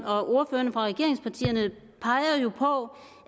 og ordførerne fra regeringspartierne peger jo på